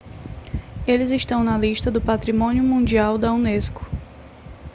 eles estão na lista do patrimônio mundial da unesco